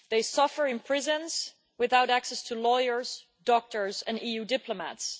They suffer in prisons without access to lawyers, doctors and EU diplomats.